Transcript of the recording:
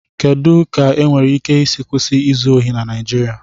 Kedu ka enwéré íké ísí kwụsị ízụ ohị na Naijiria?